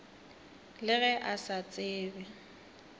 le ge a sa tsebe